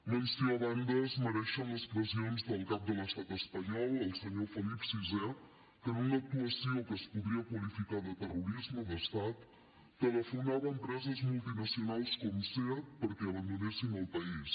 menció a banda es mereixen les pressions del cap de l’estat espanyol el senyor felip vi que en una actuació que es podria qualificar de terrorisme d’estat telefonava a empreses multinacionals com seat perquè abandonessin el país